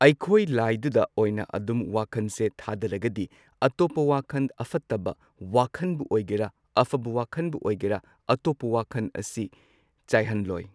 ꯑꯩꯈꯣꯏ ꯂꯥꯏꯗꯨꯗ ꯑꯣꯏꯅ ꯑꯗꯨꯝ ꯋꯥꯈꯟꯁꯦ ꯊꯥꯗꯔꯒꯗꯤ ꯑꯇꯣꯞꯄ ꯋꯥꯈꯟ ꯑꯐꯠꯇꯕ ꯋꯥꯈꯟꯕꯨ ꯑꯣꯏꯒꯦꯔꯥ ꯑꯐꯕ ꯋꯥꯈꯟꯕꯨ ꯑꯣꯏꯒꯦꯔꯥ ꯑꯇꯣꯞꯄ ꯋꯥꯈꯟ ꯑꯁꯤ ꯆꯥꯏꯍꯟꯂꯣꯏ꯫